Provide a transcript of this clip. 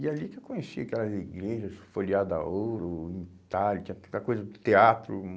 E é ali que eu conheci aquelas igrejas, folheada a Ouro, tinha tanta coisa, teatro, hum